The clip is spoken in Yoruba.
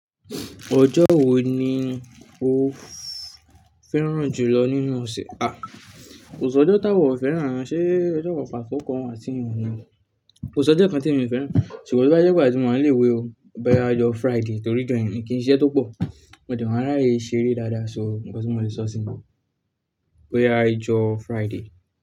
Ọjọ́ wo ni o fẹ́ràn jùlọ nínú ọ̀sẹ̀? À, kòsí òjọ́ táwa o fẹ́ràn, ṣé ọjọ́ kan pàtó kan wá tín wuni ni? Ko ṣòjọ́ kan tí èmi o fẹ́ràn ṣùgbọ́n tóbá jẹ gbà tí mo wà ní ilé-ìwé o bóyá ijọ́ Friday torí ijọ yẹn mi kìn ṣe iṣẹ́ tó pọ̀, mo dẹ̀ má ráyè ṣeré dáadáa so nǹkan tí mo lè sọ sí ni, boyá ìjọ Friday.